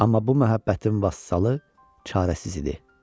Amma bu məhəbbətin vasalı çarəsiz idi.